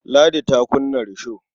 Ladi ta kunna risho.